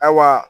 Ayiwa